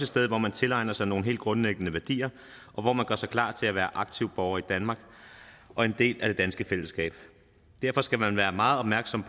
sted hvor man tilegner sig nogle helt grundlæggende værdier og hvor man gør sig klar til at være en aktiv borger i danmark og en del af det danske fællesskab derfor skal man være meget opmærksom